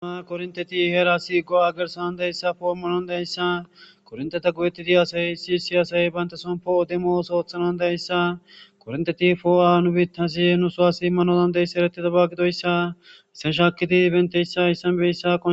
a korinteti heera si go agersanan dayssa formulon dayssa kornteta guyetidi asay issi siyasay bayntasompo demos oothanan dayssa kornteti foo7a nu bitasi nu soa si manodan deyssa erettida ba gidoyssa issenshaakidi benteyssa issanbeyssa